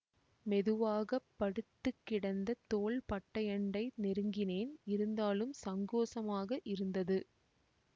மெதுவாக படுத்து கிடந்த தோள்பட்டையண்டை நெருங்கினேன் இருந்தாலும் சங்கோசமாக இருந்தது